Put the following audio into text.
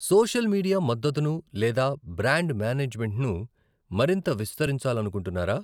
Social media మద్దతును లేదా brand మేనేజ్మెంట్ను మరింత విస్తరించాలనుకుంటున్నారా?